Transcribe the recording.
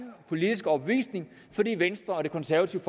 politiske overbevisning fordi venstre og det konservative